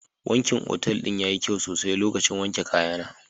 Wankin otal ɗin yayi kyau sosai lokacin wanke kayana.